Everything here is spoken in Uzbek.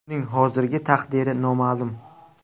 Uning hozirgi taqdiri noma’lum.